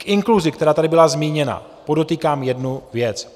K inkluzi, která tady byla zmíněna, podotýkám jednu věc.